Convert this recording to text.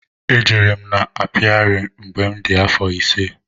E jere m n'apiari mgbe m dị afọ ise.